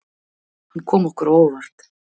Hann kom okkur á óvart.